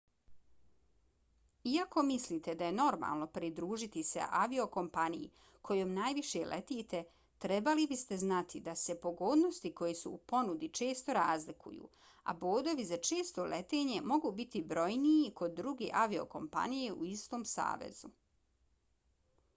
iako mislite da je normalno pridružiti se aviokompaniji kojom najviše letite trebali biste znati da se pogodnosti koje su u ponudi često razlikuju a bodovi za često letenje mogu biti brojniji kod druge aviokompanije u istom savezu